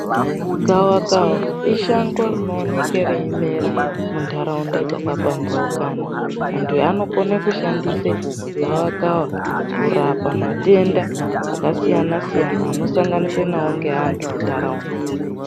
Gawakawa ishango rinooneka reimera mintaraunta dzakapambaukana, anthu anokone kushandise gawakawa kurapa matenda akasiyana-siyana anosanganikwa nawo ngeanthu muntaraunta.